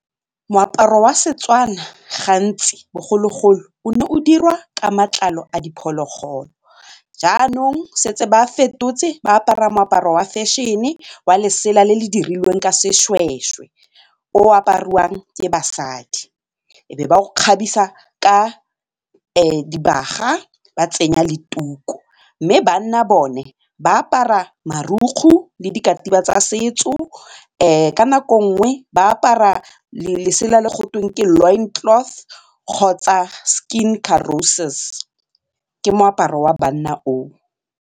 Moaparo wa seTswana gantsi bogologolo o ne o dirwa ka matlalo a diphologolo jaanong setse ba fetotse ba apara moaparo wa fashion-e wa lesela le le dirilweng ka seshweshwe o apariwang ke basadi, e be ba o kgabisa ka dibaga ba tsenya le tuku mme banna bone ba apara marukgu le dikatiba tsa setso ka nako nngwe ba apara letsela le gotweng ke lawn cloth kgotsa skin corosis, ke moaparo wa banna o o.